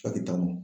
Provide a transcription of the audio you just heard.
taa mɔ